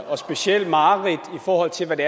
og specielt mareridt i forhold til hvad det